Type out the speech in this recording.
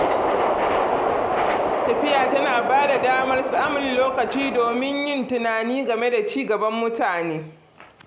Tafiya tana bada damar samun lokacin domin yin tunani game da ci gaban mutum.